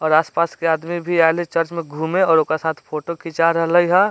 और आस-पास के आदमी भी आएल हेय चर्च में घूमे और ओकरा साथ फोटो खींचा रहले हअ।